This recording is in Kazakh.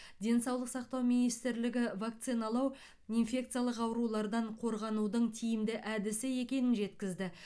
денсаулық сақтау министрлігі вакциналау инфекциялық аурулардан қорғанудың тиімді әдісі екенін жеткізді